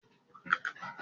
Egg roll' jé ìpanu ní Nàìjíríà